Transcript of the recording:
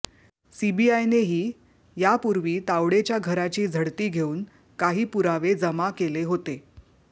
सीबीआयने ही यापुर्वी तावडेच्या घराची झडती घेऊन काही पुरावे जमा केले होते